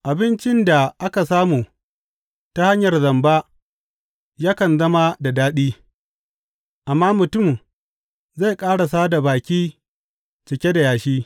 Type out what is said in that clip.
Abincin da aka samu ta hanyar zamba yakan zama da daɗi, amma mutum zai ƙarasa da baki cike da yashi.